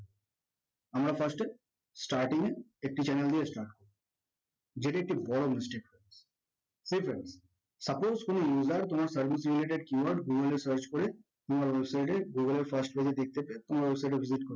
আমার first এ starting এ একটি channel দিয়ে start করতে হবে যেটি একটি বড়ো mistake suppose কোনো user তোমার service related keyword google search করে তোমার website এ google first page এ দেখতে পেলো